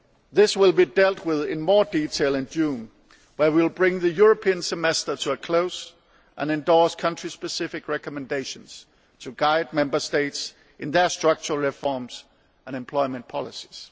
This will be dealt with in more detail in June when we will bring the European Semester to a close and endorse country specific recommendations to guide Member States in their structural reforms and employment policies.